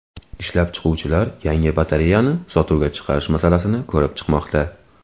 Ishlab chiquvchilar yangi batareyani sotuvga chiqarish masalasini ko‘rib chiqmoqda.